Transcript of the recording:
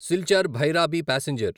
Silchar Bhairabi passenger